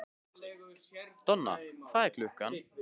Donna, hvað er klukkan?